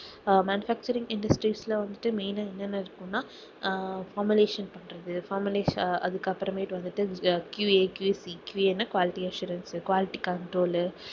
அஹ் manufacturing industries ல வந்துட்டு main ஆ என்னன்ன இருக்கும்னா formulation பண்றது formulation அதுக்கப்புறமேட்டு வந்துட்டு QAQCQA ன்னா quality assurance, quality control உ